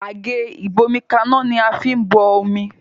Àgé ìgbómikaná ní a fín bó omí